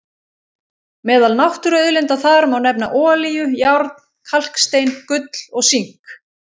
Meðal náttúruauðlinda þar má nefna olíu, járn, kalkstein, gull og sink.